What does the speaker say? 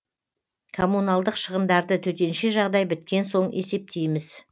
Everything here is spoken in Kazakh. коммуналдық шығындарды төтенше жағдай біткен соң есептейміз